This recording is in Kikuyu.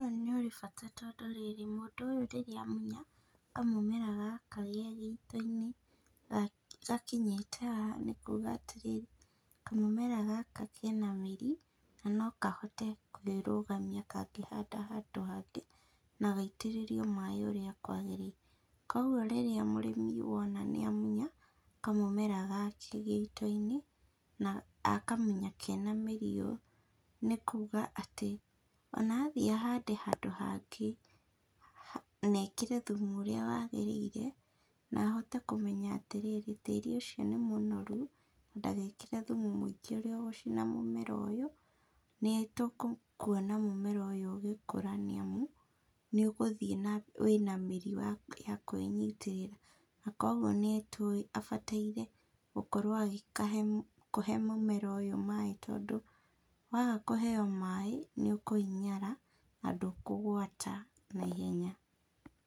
Mũmera nĩ ũrĩ bata tondũ rĩrĩ, mũndũ ũyũ rĩrĩa amuya kamũmera gaka ge gĩito-inĩ, ga gakĩnyĩta haha nĩ kuga atĩrĩrĩ, kamũmera gaka kena mĩri, na no kahote kwĩrugamia kangĩhanda handũ hangĩ, na gaitĩrĩrio maĩ ũrĩa kwagĩrĩire, kwoguo rĩrĩa mũrĩmi wona nĩ amunya, kamũmera gake gĩito-inĩ, na akamunya kena mĩri ũũ nĩ kuga atĩ, ona athiĩ ahande handũ hangĩ, na ekĩre thumu ũrĩa wagĩrĩire, na ahote kũmenya atĩrĩrĩ, tĩri ucio nĩ mũnoru, na ndagekĩre thumu mũingĩ ũrĩa ũgũcina mũmera ũyũ, nĩ tũkuona mũmera ũyũ ũgĩkora nĩ amu, nĩ ũgũthiĩ na mbere, wĩna mĩri wa ya kwĩnyitĩrĩra, na kwoguo nĩ tũwĩ abataire gũkorwo agĩkahe, kũhe mũmera ũyũ maĩ, tondũ waga kũheyo maĩ nĩ ũkũhinyara na ndũkũgwata na ihenya.